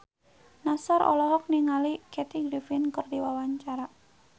Nassar olohok ningali Kathy Griffin keur diwawancara